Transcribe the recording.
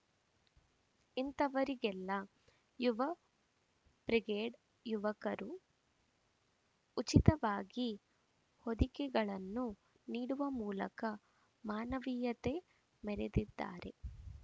ಇಂಥವರಿಗೆಲ್ಲ Yuva brigade ಯುವಕರು ಉಚಿತವಾಗಿ ಹೊದಿಕೆಗಳನ್ನು ನೀಡುವ ಮೂಲಕ ಮಾನವೀಯತೆ ಮೆರೆದಿದ್ದಾರೆ